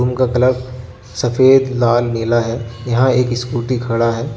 उनका कलर सफेद लाल नीला है यहां एक स्कूटी खड़ा है।